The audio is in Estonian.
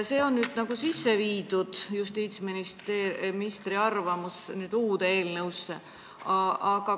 See on nüüd eelnõusse lisatud, seega arvestatud on justiitsministri arvamusega.